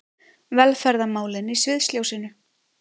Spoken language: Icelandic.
Velferðarmálin í sviðsljósinu